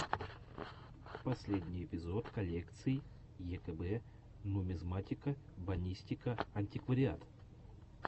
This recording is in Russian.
последний эпизод коллекций екб нумизматика бонистика антиквариат